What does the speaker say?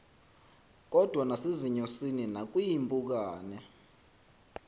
kodwa nasezinyosini nakwiimpukane